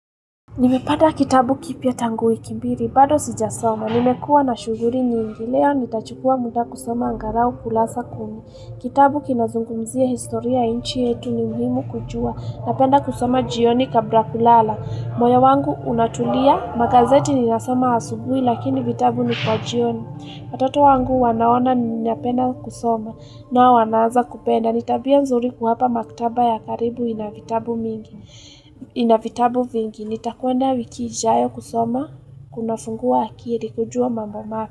Nimepata kitabu kipya tangu wiki mbili bado sijasoma nimekua na shuhuri nyingi leo nitachukua muda kusoma angarau kulasa kumi kitabu kinazungumzia historia nchi yetu ni mhimu kujua napenda kusoma jioni kabla kulala moyo wangu unatulia magazeti ninasoma asubui lakini vitabu ni kwa jioni watoto wangu wanaona ninapenda kusoma nao wanaaza kupenda nitabia nzuri kuhapa maktaba ya karibu inavitabu mingi inavitabu vingi nitakwenda wiki ijayo kusoma kunafungua akiri kujua mamba.